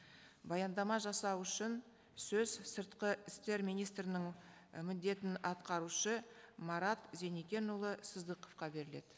баяндама жасау үшін сөз сыртқы істер министрінің і міндетін атқарушы марат зеникенұлы сыздықовқа беріледі